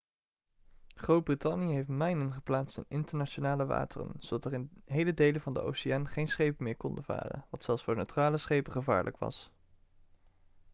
groot-brittannië heeft mijnen geplaatst in internationale wateren zodat er in hele delen van de oceaan geen schepen meer konden varen wat zelfs voor neutrale schepen gevaarlijk was